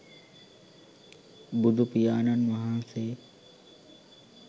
බුදුපියාණන් වහන්සේ